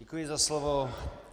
Děkuji za slovo.